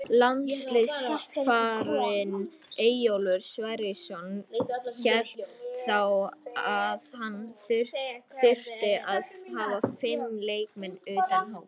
Landsliðsþjálfarinn Eyjólfur Sverrisson hélt þá að hann þyrfti að hafa fimm leikmenn utan hóps.